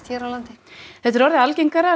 hér á landi þetta er orðið algengara